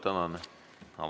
Tänan!